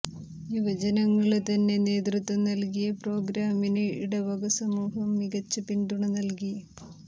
യുവജനങ്ങള് തന്നെ നേതൃത്വം നല്കിയ പ്രോഗ്രാമിന് ഇടവക സമൂഹം മികച്ച പിന്തുണ നല്കി